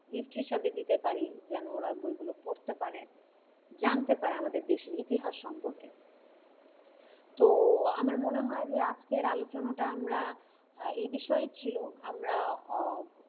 gift হিসাবে দিতে পারি যেন ওরা বইগুলো পড়তে পারে জানতে পারে আমাদের দেশের ইতিহাস সম্পর্কে তো আমার মনে হয় যে আজকের আলোচনাটা আমরা এই বিষয়েই ছিল আমরা ও,